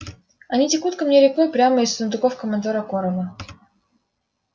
они текут ко мне рекой прямо из сундуков командора корела